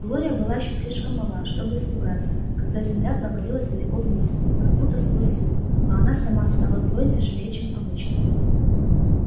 глория была ещё слишком мала чтобы испугаться когда земля провалилась далеко вниз как будто сквозь люк а она сама стала вдвое тяжелее чем обычно